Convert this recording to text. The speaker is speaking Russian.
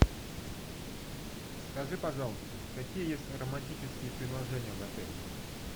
скажи пожалуйста какие есть романтические предложения в отеле